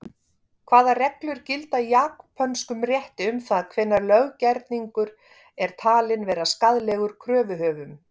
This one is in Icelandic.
Hvaða reglur gilda í japönskum rétti um það hvenær löggerningur er talinn vera skaðlegur kröfuhöfum?